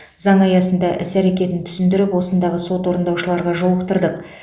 заң аясында іс әрекетін түсіндіріп осындағы сот орындаушыларға жолықтырдық